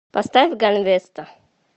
поставь ганвеста